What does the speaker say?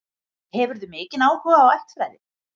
Hefurðu mikinn áhuga á ættfræði?